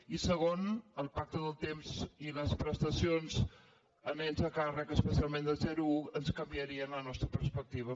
i segon el pacte del temps i les prestacions a nens a càrrec especialment de zero a u ens canviarien la nostra perspectiva